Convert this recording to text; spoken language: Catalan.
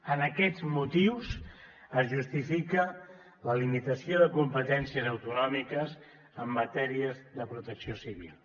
en aquests motius es justifica la limitació de competències autonòmiques en matèria de protecció civil